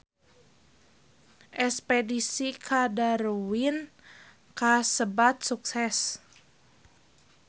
Espedisi ka Darwin kasebat sukses